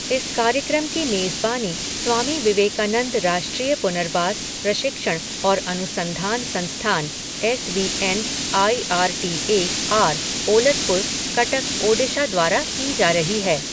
इस कार्यक्रम की मेजबानी स्वामी विवेकानंद राष्ट्रीय पुनर्वास, प्रशिक्षण और अनुसंधान संस्थान, S V N I R T A R Olatpur, Cuttack, Odisha द्वारा की जा रही है।